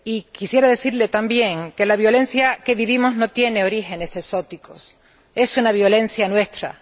Quisiera decirle también que la violencia que vivimos no tiene orígenes exóticos es una violencia nuestra.